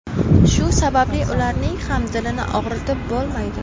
Shu sababli ularning ham dilini og‘ritib bo‘lmaydi.